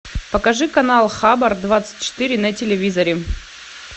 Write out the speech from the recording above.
покажи канал хабар двадцать четыре на телевизоре